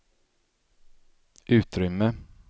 utrymme